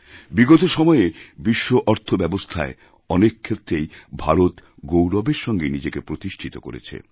বিগত সময়ে বিশ্ব অর্থ ব্যবস্থায় অনেক ক্ষেত্রেই ভারত গৌরবেরসঙ্গে নিজেকে প্রতিষ্ঠিত করেছে